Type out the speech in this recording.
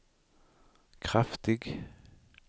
kraftig